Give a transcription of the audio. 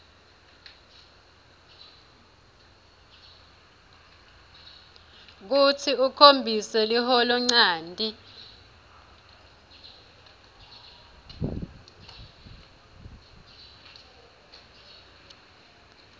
kutsi ukhombise liholonchanti